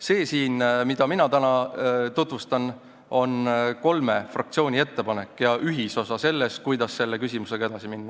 See siin, mida mina täna tutvustan, on kolme fraktsiooni ettepanek ja ühisosa sellest, kuidas selle küsimusega edasi minna.